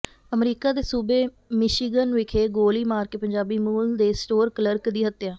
America ਦੇ ਸੂਬੇ Michigan ਵਿਖੇ ਗੋਲੀ ਮਾਰ ਕੇ ਪੰਜਾਬੀ ਮੂਲ ਦੇ ਸਟੋਰ ਕਲਰਕ ਦੀ ਹੱਤਿਆਂ